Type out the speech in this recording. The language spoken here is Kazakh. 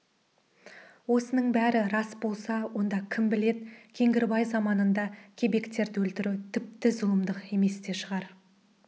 осының бәрі рас болса онда кім біледі кеңгірбай заманында кебектерді өлтіру тіпті зұлымдық емес те шығар